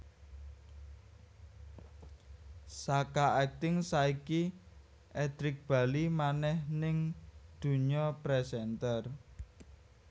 Saka akting saiki Edric bali manèh ning dunya presenter